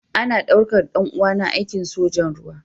Ana daukar ɗan uwana aikin sojan ruwa.